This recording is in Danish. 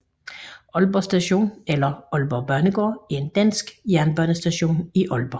Aalborg Station eller Aalborg Banegård er en dansk jernbanestation i Aalborg